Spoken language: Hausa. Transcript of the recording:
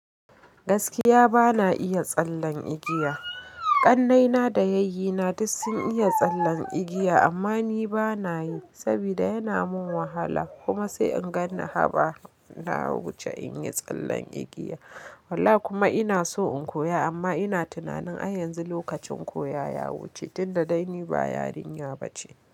Gaskiya bana iya tsallen igiya. Ƙannai na da yayyi na duk sun iya tsallen igiya amma ni bana yi saboda yana min wahala kuma sai in ganni haba na wuce in yi tsallen igiya. Wallah kuma ina so in koya amma ina tunanin ai yanzu lokacin koya ya wuce tunda dai ni ba yarinya bace.